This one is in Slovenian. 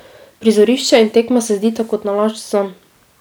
Prizorišče in tekma se zdita kot nalašč zanj.